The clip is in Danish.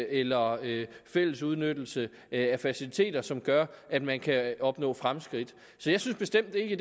eller fælles udnyttelse af faciliteter som gør at man kan opnå fremskridt så jeg synes bestemt ikke